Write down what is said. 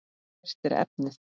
Hvert er efnið?